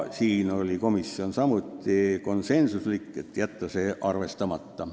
" Siin oli komisjon samuti konsensuslik: jätta see ettepanek arvestamata.